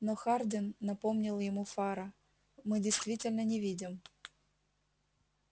но хардин напомнил ему фара мы действительно не видим